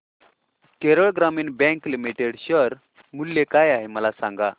Kerala Gramin bank limited share मूल्य काय आहे मला सांगा